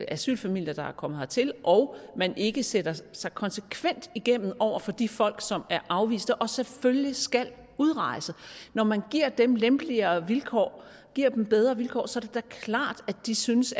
asylfamilier der er kommet hertil og når man ikke sætter sig konsekvent igennem over for de folk som er afviste og selvfølgelig skal udrejse når man giver dem lempeligere vilkår giver dem bedre vilkår så er det da klart at de synes